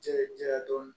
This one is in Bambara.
Cɛ ja dɔɔni